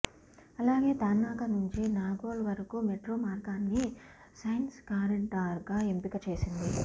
అలానే తార్నాక నుంచి నాగోల్ వరకు మెట్రో మార్గాన్ని సైన్స్ కారిడార్గా ఎంపిక చేసింది